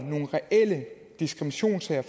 nogle reelle diskriminationssager